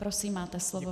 Prosím, máte slovo.